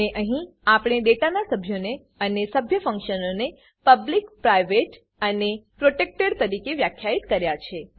અને અહીં આપણે ડેટા સભ્યોને અને સભ્ય ફંક્શનોને પબ્લિક પ્રાઇવેટ અને પ્રોટેક્ટેડ તરીકે વ્યાખ્યિત કર્યા છે